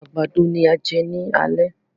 Àgbàdo ni a á jẹ ni alẹ́.